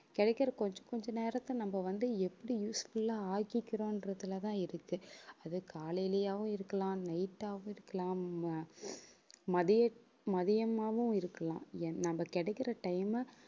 கிடைக்கிற கொஞ்ச கொஞ்ச நேரத்தை நம்ம வந்து எப்படி useful ஆ ஆக்கிக்கிறோம்றதுல தான் இருக்கு. அது காலையிலயாவும் இருக்கலாம் night ஆவும் இருக்கலாம் ம~ மதிய~ மதியம்மாவும் இருக்கலாம். என்ன நம்ம கிடைக்கிற time அ